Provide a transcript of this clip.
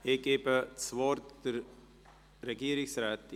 Ich erteile das Wort der Regierungsrätin.